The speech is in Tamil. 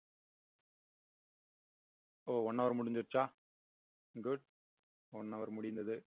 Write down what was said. இப்போ one hour முடிஞ்சிருச்சா good one hour முடிந்தது